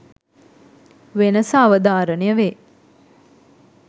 වෙනස අවධාරණය වේ.